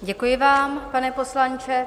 Děkuji vám, pane poslanče.